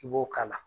I b'o k'a la